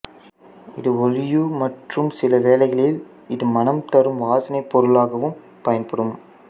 இது ஒளியுக் மற்றும் சில வேளைகளில் இது மணம் தரும் வாசனை பொருளாகவும் பயன்படும்